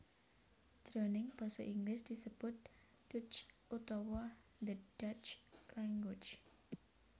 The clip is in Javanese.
Jroning Basa Inggris disebut Dutch utawa the Dutch Language